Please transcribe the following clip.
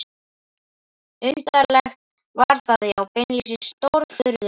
Undarlegt var það, já beinlínis stórfurðulegt.